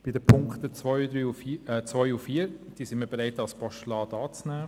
Zu den Punkten 2 und 4: Wir sind bereit, diese als Postulat anzunehmen.